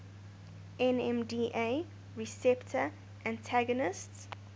nmda receptor antagonists